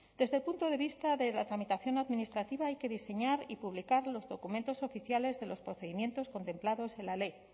desde el punto de vista de la tramitación administrativa hay que diseñar y publicar los documentos oficiales de los procedimientos contemplados en la ley